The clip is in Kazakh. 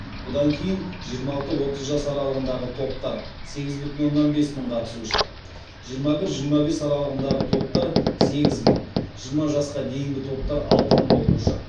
бұдан кейін жиырма алты отыз жас аралығындағы топтар сегіз бүтін оннан бес мың қатысушы жиырма бір жиырма бес жас аралығындағы топтар сегіз мың жиырма жасқа дейінгі топтар алты мың оқушы